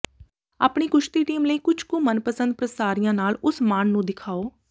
ਆਪਣੀ ਕੁਸ਼ਤੀ ਟੀਮ ਲਈ ਕੁਝ ਕੁ ਮਨਪਸੰਦ ਪ੍ਰਸਾਰੀਆਂ ਨਾਲ ਉਸ ਮਾਣ ਨੂੰ ਦਿਖਾਓ